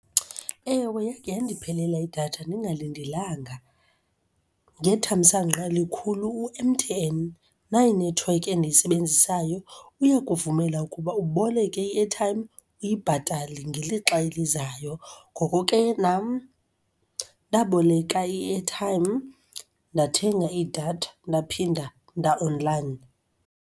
Ewe, yake yandiphelela idatha ndingalindelanga. Ngethamsanqa elikhulu u-M_T_N, nayi inethiwekhi endiyisebenzisayo, uyakuvumela ukuba uboleke i-airtime uyibhatale ngelixa elizayo. Ngoko ke nam ndaboleka i-airtime ndathenga idatha ndaphinda nda-online.